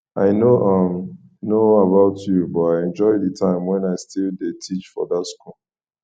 i no um know about you but i enjoy the time wen i still dey teach for dat school